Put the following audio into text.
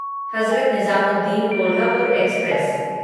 Hazrat Nizamuddin Kolhapur express